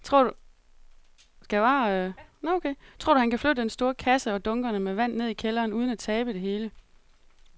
Tror du, at han kan flytte den store kasse og dunkene med vand ned i kælderen uden at tabe det hele?